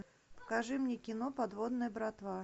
покажи мне кино подводная братва